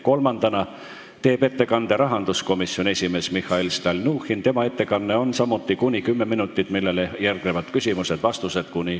Kolmandana teeb ettekande rahanduskomisjoni esimees Mihhail Stalnuhhin, tema ettekanne kestab samuti kuni 10 minutit, millele järgnevad küsimused ja vastused .